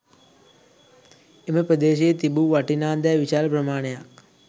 එම ප්‍රදේශයේ තිබූ වටිනා දෑ විශාල ප්‍රමාණයක්